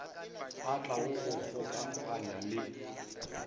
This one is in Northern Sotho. a tlago go gokaganya le